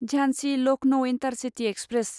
Jhansi Lucknow intercity express